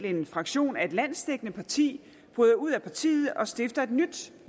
en fraktion af et landsdækkende parti bryder ud af partiet og stifter et nyt